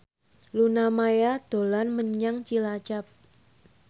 Luna Maya dolan menyang Cilacap